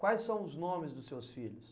Quais são os nomes dos seus filhos?